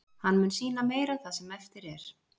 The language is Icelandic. Hann mun sýna meira það sem eftir er.